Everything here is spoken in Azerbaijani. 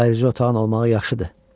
Ayrıca otağın olmağı yaxşıdır.